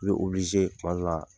I bɛ tuma dɔw la